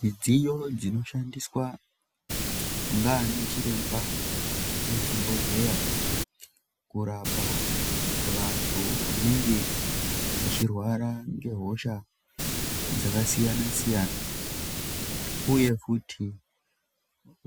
Midziyo dzinoshandiswa ngaanachiremba muzvibhodhleya kurapa vantu vanenge vachirwara ngehosha dzakasiyana-siyana uye futi